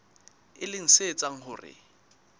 e leng se etsang hore